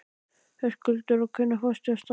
Höskuldur: Og hvenær fórstu af stað?